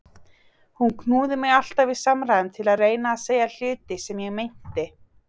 Hún knúði mig alltaf í samræðum til að reyna að segja hluti sem ég meinti.